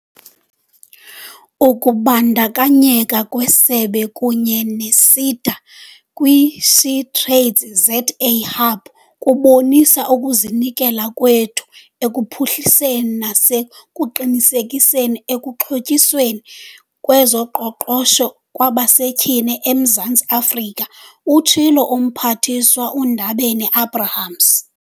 "Ukubandakanyeka kwesebe kunye ne-SEDA kwi-SheTradesZA Hub kubonisa ukuzinikela kwethu ekuphuhliseni nasekuqinisekiseni ukuxhotyiswa kwezoqoqosho kwabasetyhini eMzantsi Afrika," utshilo uMphathiswa uNdabeni-Abrahams.